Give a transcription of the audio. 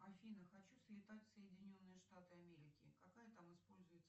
афина хочу слетать в соединенные штаты америки какая там используется